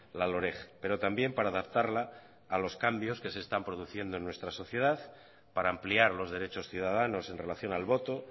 la loreg pero también para adaptarla a los cambios que se están produciendo en nuestra sociedad para ampliar los derechos ciudadanos en relación al voto